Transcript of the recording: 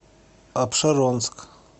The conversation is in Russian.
апшеронск